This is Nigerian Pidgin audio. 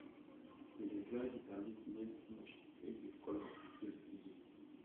we dey dry bitterleaf near smoke make the colour and taste still dey